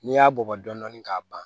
N'i y'a bugɔ dɔɔni k'a ban